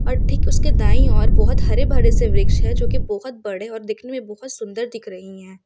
और ठीक उसके दाई और बहुत हरे भरे से वृक्ष है जो की बहुत बड़े और दिखने मे बहुत सुंदर दिख रही है।